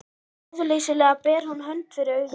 Ráðleysislega ber hún hönd fyrir augu.